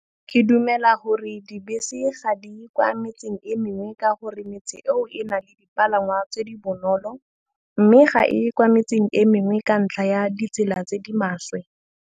Ke dumela gore dibese ga di kwa metseng e mengwe ka gore metse eo e na le dipalangwa tse di bonolo, mme ga e kwa metseng e mengwe ka ntlha ya ditsela tse di maswe.